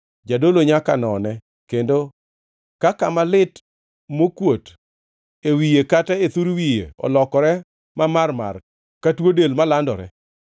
Jadolo nyaka none, kendo ka kama lit mokuot e wiye kata e thur wiye olokore mamarmar ka tuo del malandore,